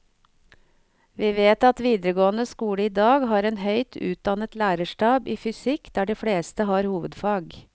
Vi vet at videregående skole i dag har en høyt utdannet lærerstab i fysikk der de fleste har hovedfag.